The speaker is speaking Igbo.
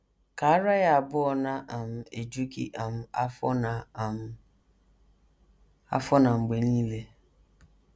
“ Ka ara ya abụọ na - um eju gị um afọ na um afọ na mgbe nile. ”